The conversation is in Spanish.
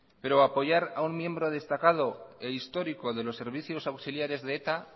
pero apoyar a un miembro destacado e histórico de los servicios auxiliares de eta